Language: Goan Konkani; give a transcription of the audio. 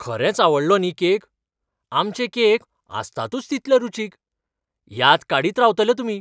खरेंच आवडलो न्ही केक? आमचे केक आसतातूच तितले रुचीक. याद काडीत रावतले तुमी.